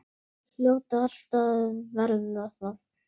Hljóta alltaf að verða það.